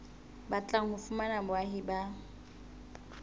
batlang ho fumana boahi ba